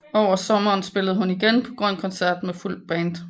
Over sommeren spillede hun igen på Grøn Koncert med fuldt band